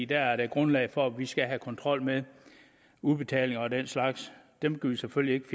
dér er der grundlag for at vi skal have kontrol med udbetalinger og den slags dem kan vi selvfølgelig ikke